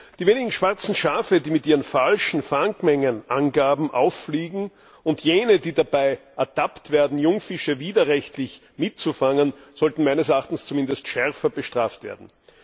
Die wenigen schwarzen Schafe, die mit ihren falschen Fangmengenangaben auffliegen, und jene, die dabei ertappt werden, Jungfische widerrechtlich mitzufangen, sollten meines Erachtens zumindest schärfer bestraft werden.